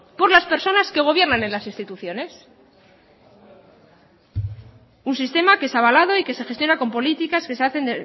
por las personas que gobiernan en las instituciones un sistema que es avalado y que se gestiona con políticas que se hacen